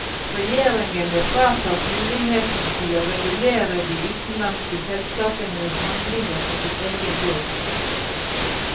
Regjeringene fratas mulighetene til å regulere de utenlandske selskapenes handlinger på sin egen jord.